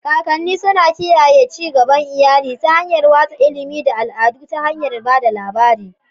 kakanni suna kiyaye ci gaban iyali ta hanyar watsa ilimi da al'adu ta hanyar ba da labari.